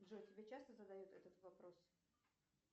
джой тебе часто задают этот вопрос